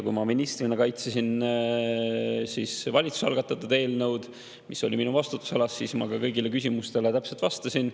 Kui ma ministrina kaitsesin valitsuse algatatud eelnõu, mis oli minu vastutusalas, siis ma kõigile küsimustele täpselt vastasin.